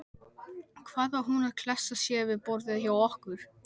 Hvað var hún að klessa sér við borðið hjá okkur.